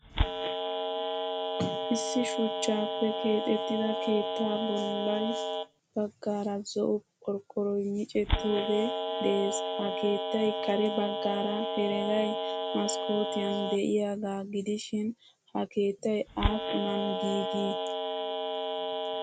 Issi shuchchappe keexettida keettay bolla baggaara zo'o qorqoroy micettoge de'ees. Ha keettaay kare baggaara heregay maskkotiyan deiyaga gidishin ha keettay appunan giigi?